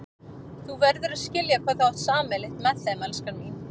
Þú verður að skilja hvað þú átt sameiginlegt með þeim, elskan mín.